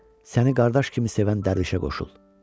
səni qardaş kimi sevən Dərvişə qoşul.